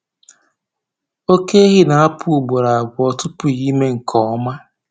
oke ehi na-apụ ugboro abụọ tupu ime nke ọma.